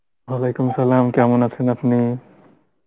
Arbi, কেমন আছেন আপনি?